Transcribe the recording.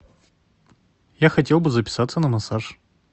я хотел бы записаться на массаж